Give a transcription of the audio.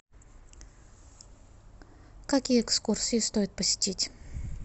какие экскурсии стоит посетить